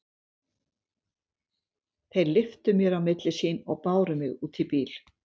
Þeir lyftu mér á milli sín og báru mig út í bíl.